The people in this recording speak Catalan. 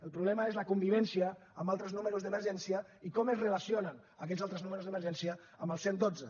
el problema és la convivència amb altres números d’emergència i com es relacionen aquests altres números d’emergència amb el cent i dotze